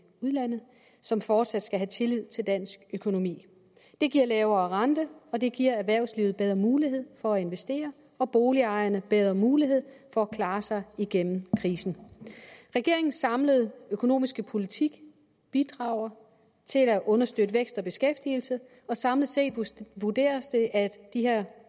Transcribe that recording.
udlandet som fortsat skal have tillid til dansk økonomi det giver lavere rente og det giver erhvervslivet bedre mulighed for at investere og boligejerne bedre mulighed for at klare sig igennem krisen regeringens samlede økonomiske politik bidrager til at understøtte vækst og beskæftigelse og samlet set vurderes det at de her